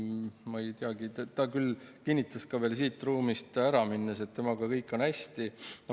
Ma ei teagi, minister küll kinnitas ka veel siit ruumist ära minnes, et temaga on kõik hästi.